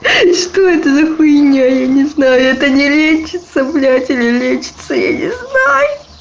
что это за хуйня я не знаю это не лечится блять или лечится я не знаю